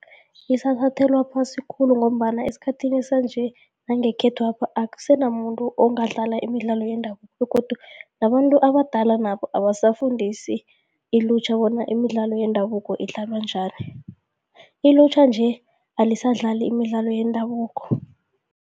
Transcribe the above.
Isathathelwa phasi khulu ngombana esikhathini sanje nangekhethwapha akusenamuntu ongadlala imidlalo yendabuko begodu nabantu abadala nabo abasafundisi ilutjha bona imidlalo yendabuko idlalwa njani. Ilutjha nje, alisadlali imidlalo yendabuko.